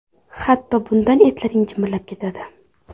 Hatto bundan etlaring jimirlab ketadi.